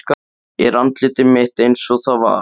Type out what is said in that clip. Er andlit mitt einsog það var.